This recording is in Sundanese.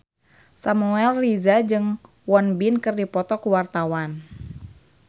Samuel Rizal jeung Won Bin keur dipoto ku wartawan